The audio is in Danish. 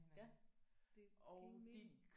Ja det giver ingen mening